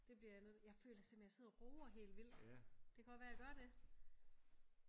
Det bliver jeg nødt jeg føler simpelthen jeg sidder og råber helt vildt det kan godt være jeg gør det